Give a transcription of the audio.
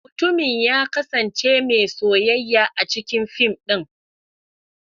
Mutumin ya kasance mai soyayya a cikin fim din.